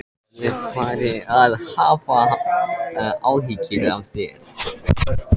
Ég var farinn að hafa áhyggjur af þér.